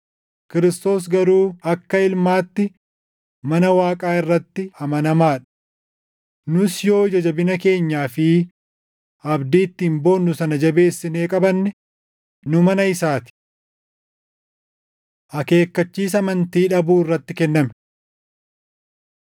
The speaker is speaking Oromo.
Kiristoos garuu akka Ilmaatti mana Waaqaa irratti amanamaa dha. Nus yoo ija jabina keenyaa fi abdii ittiin boonnu sana jabeessinee qabanne, nu mana isaa ti. Akeekkachiisa Amantii Dhabuu Irratti Kenname